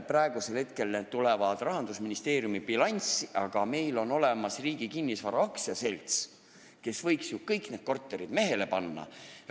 Praegu tulevad need Rahandusministeeriumi bilanssi, aga meil on olemas Riigi Kinnisvara AS, kes võiks ju kõik need korterid mehele panna.